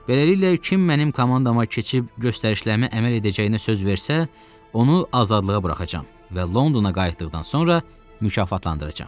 Beləliklə, kim mənim komandama keçib göstərişlərimə əməl edəcəyinə söz versə, onu azadlığa buraxacağam və Londona qayıtdıqdan sonra mükafatlandıracağam.